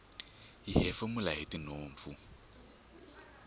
hi hefemula hitinhompfu